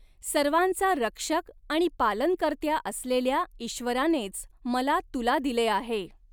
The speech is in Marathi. सर्वांचा रक्षक आणि पालनकर्त्या असलेल्या ईश्वरानेच मला तुला दिले आहे.